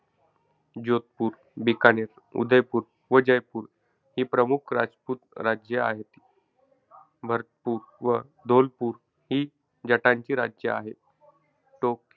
जोधपूर, बिकानेर, उदयपूर व जयपूर ही प्रमुख रजपूत राज्ये होती. भरतपूर व धोलपूर ही जटांची राज्य आहे. टोक,